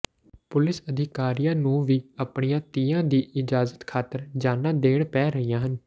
police ਅਧਿਕਾਰੀਆਂ ਨੂੰ ਵੀ ਆਪਣੀਆਂ ਧੀਆਂ ਦੀ ਇੱਜ਼ਤ ਖਾਤਰ ਜਾਨਾਂ ਦੇਣੀਆਂ ਪੈ ਰਹੀਆਂ ਹਨ